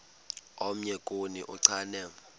omnye kuni uchane